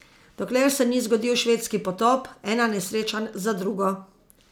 Dokler se ni zgodil švedski potop, ena nesreča za drugo!